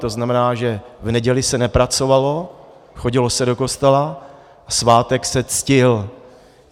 To znamená, že v neděli se nepracovalo, chodilo se do kostela a svátek se ctil.